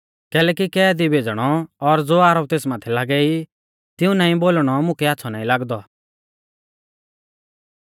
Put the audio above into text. कैलैकि कैदी भेज़णौ और ज़ो आरोप तेस माथै लागै ई तिऊं नाईं बोलणौ मुकै आच़्छ़ौ नाईं लागदौ